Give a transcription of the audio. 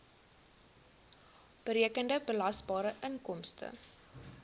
berekende belasbare inkomste